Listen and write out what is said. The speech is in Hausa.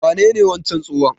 Wanene wancan tsohon?